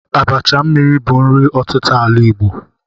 Abacha mmiri bụ nri ọtịta ala Igbo.